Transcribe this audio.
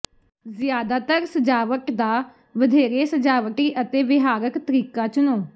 ਜ਼ਿਆਦਾਤਰ ਸਜਾਵਟ ਦਾ ਵਧੇਰੇ ਸਜਾਵਟੀ ਅਤੇ ਵਿਹਾਰਕ ਤਰੀਕਾ ਚੁਣੋ